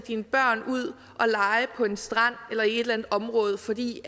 sine børn ud og lege på en strand eller i et eller område fordi